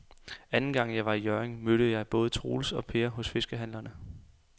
Anden gang jeg var i Hjørring, mødte jeg både Troels og Per hos fiskehandlerne.